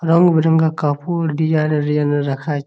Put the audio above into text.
রং বেরঙা কাপড় designer designer রাখা আ--